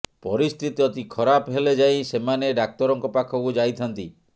ପରିସ୍ଥିତି ଅତି ଖରାପ ହେଲେ ଯାଇ ସେମାନେ ଡାକ୍ତରଙ୍କ ପାଖକୁ ଯାଇଥାନ୍ତି